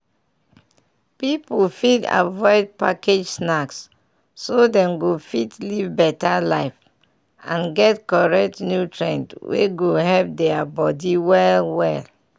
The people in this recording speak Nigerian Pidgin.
pipu fit avoid package snacks so dem go fit live better life and get correct nutrient wey go help deir body well well.